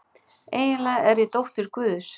Eiginlega er ég dóttir guðs.